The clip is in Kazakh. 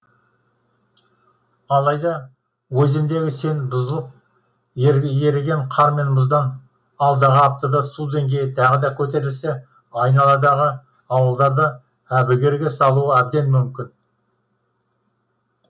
алайда өзендегі сең бұзылып еріген қар мен мұздан алдағы аптада су деңгейі тағы да көтерілсе айналадағы ауылдарды әбігерге салуы әбден мүмкін